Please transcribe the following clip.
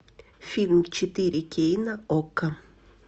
фильм четыре кей на окко